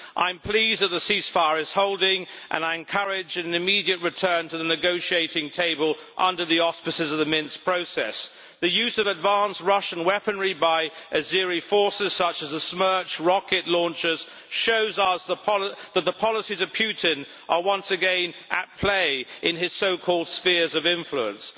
I am pleased that the ceasefire is holding and I encourage an immediate return to the negotiating table under the auspices of the Minsk Process. The use of advanced Russian weaponry by Azeri forces, such as Smerch rocket launchers, shows us that the policies of Putin are once again at play in his so called spheres of influence.